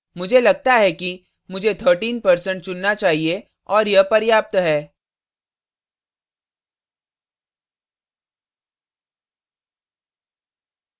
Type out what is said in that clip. मुझे लगता है कि मुझे 13% चुनना चाहिए और यह पर्याप्त है